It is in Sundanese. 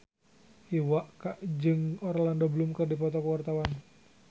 Iwa K jeung Orlando Bloom keur dipoto ku wartawan